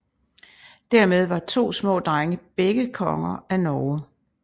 Dermed var to små drenge begge konger af Norge